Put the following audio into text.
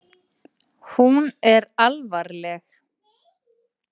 Hún er alvarleg.